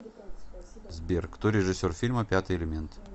сбер кто режиссер фильма пятый элемент